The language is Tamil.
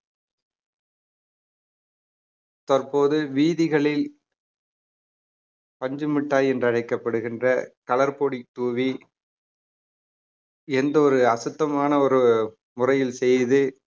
தற்போது வீதிகளில் பஞ்சுமிட்டாய் என்று அழைக்கப்படுகின்ற color பொடி தூவி எந்த ஒரு அசுத்தமான ஒரு முறையில் செய்து